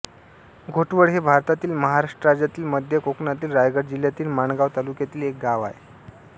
घोटवळ हे भारतातील महाराष्ट्र राज्यातील मध्य कोकणातील रायगड जिल्ह्यातील माणगाव तालुक्यातील एक गाव आहे